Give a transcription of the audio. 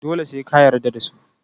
dole se ka yarda dasu